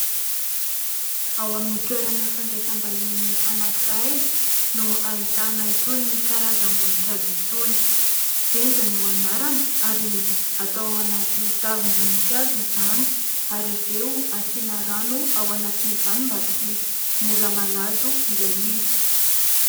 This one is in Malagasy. Ao amin'ny toerana fandrasaim-bahiny anankiray no ahitana itony karazam-boninkazo itony ; "Benja" no anarany ary atao anaty tavim-boninkazo izany ary avy eo asiana rano ao anatiny izany mba tsy mora malazo ilay izy.